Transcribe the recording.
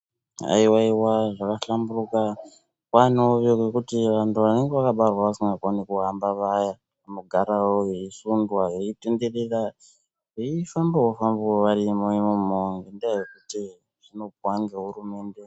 Haiwaiwa zvakahlamburika kwaanewo yekuti vantu vanenge vakabarwa vasikakoni kuhamba Vaya, vanogarawo veisundwa veitenderera veifamba fambawo varimo imomo ngendaa yekuti zvinopuwa ngehurumende.